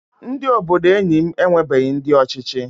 Ndị obodo enyi m enwebughi ndị ọchịchị